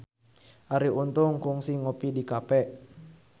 Arie Untung kungsi ngopi di cafe